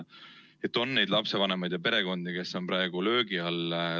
On neid lapsevanemaid ja perekondi, kes on praegu löögi all.